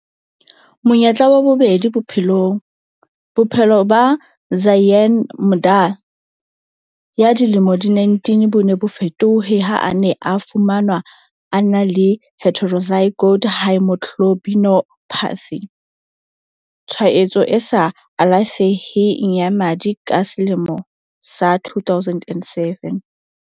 Monyetla wa bobedi bophelongBophelo ba Zyaan Makda ya dilemo di 19 bo ne bo fetohe ha a ne a fumanwa a na le heterozygote haemoglobinopathy, tshwaetso e sa alafeheng ya madi ka selemo sa 2007.